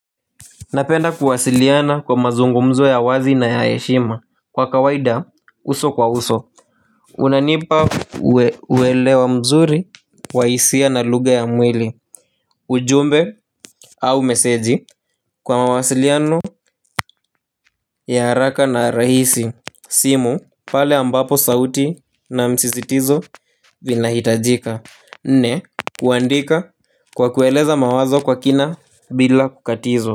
Napenda kuwasiliana kwa mazungumzo ya wazi na ya yeshima. Kwa kawaida, uso kwa uso unanipa uwelewa mzuri wa hisia na lugha ya mwili. Ujumbe au meseji kwa mawasiliano ya haraka na rahisi. Simu pale ambapo sauti na msisitizo vinahitajika. Nne, kuandika kwa kueleza mawazo kwa kina bila kukatizwa.